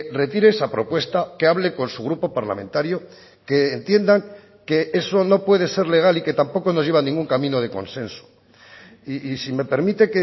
retire esa propuesta que hable con su grupo parlamentario que entiendan que eso no puede ser legal y que tampoco nos lleva a ningún camino de consenso y si me permite